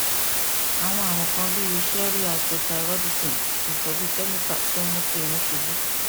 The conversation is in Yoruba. awọn arun kan bii ṣẹẹri hypothyroidism itọju kemikali tun mu ki irun ṣubu